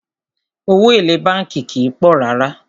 Owó èlé bánkì kìí pọ̀ rárá.